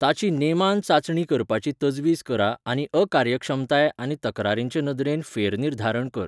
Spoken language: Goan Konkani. ताची नेमान चांचणी करपाची तजवीज करा आनी अकार्यक्षमताय आनी तक्रारींचे नदरेन फेरनिर्धारण कर.